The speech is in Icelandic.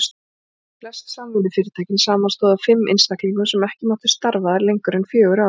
Flest samvinnufyrirtækin samanstóðu af fimm einstaklingum sem ekki máttu starfa þar lengur en fjögur ár.